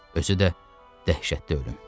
Özü də dəhşətli ölüm.